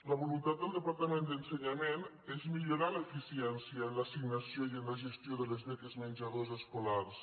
la voluntat del departament d’ensenyament és millorar l’eficiència en l’assignació i en la gestió de les beques menjador escolars